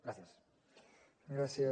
gràcies